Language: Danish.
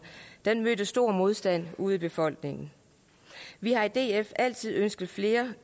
den mødte stor modstand ude i befolkningen vi har i df altid ønsket flere